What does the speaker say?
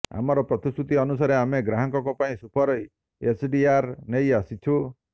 ଆମର ପ୍ରତିଶ୍ରୁତି ଅନୁସାରେ ଆମେ ଗ୍ରାହକଙ୍କ ପାଇଁ ସୁପର ଏଚ୍ଡିଆର୍ ନେଇ ଆସିଛୁ